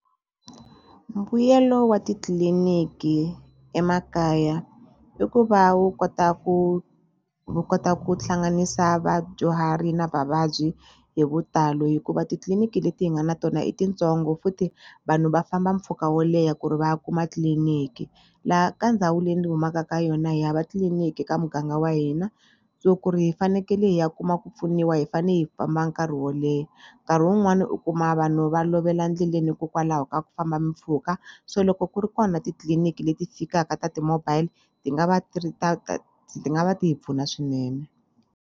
Mbuyelo wa titliliniki emakaya i ku va wu kota ku wu kota ku hlanganisa vadyuhari na vavabyi hi vutalo hikuva titliliniki leti hi nga na tona i tintsongo futhi vanhu va famba mpfhuka wo leha ku ri va ya kuma tliliniki laha ka ndhawu leyi ni humaka ka yona hi hava tliliniki ka muganga wa hina so ku ri hi fanekele hi ya kuma ku pfuniwa hi fane hi famba nkarhi wo leha nkarhi wun'wani u kuma vanhu va lovela ndleleni hikokwalaho ka ku famba mpfhuka so loko ku ri kona titliliniki leti fikaka ta ti-mobile ti nga va ti ri ta ti nga va ti hi pfuna swinene.